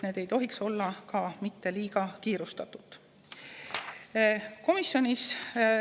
Neid ei tohiks teha ka liiga kiirustades.